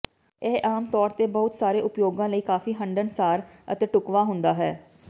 ਇਹ ਆਮਤੌਰ ਤੇ ਬਹੁਤ ਸਾਰੇ ਉਪਯੋਗਾਂ ਲਈ ਕਾਫੀ ਹੰਢਣਸਾਰ ਅਤੇ ਢੁਕਵਾਂ ਹੁੰਦਾ ਹੈ